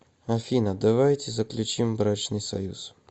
афина давайте заключим брачный союз